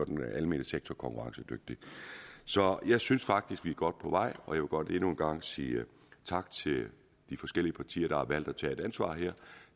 den almene sektor konkurrencedygtig så jeg synes faktisk vi er godt på vej og jeg vil godt endnu en gang sige tak til de forskellige partier der har valgt at tage et ansvar her